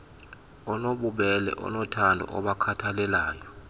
onobubele onothando obakhathalelayo